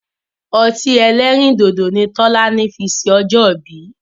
Ọtí ẹlẹ́rìndòdò ni Tọ́lání fi ṣe ọjọ́ ìbí.